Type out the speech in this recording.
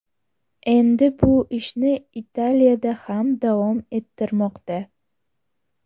Endi bu ishni Italiyada ham davom ettirmoqda.